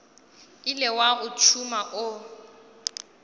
ile wa o tšhuma o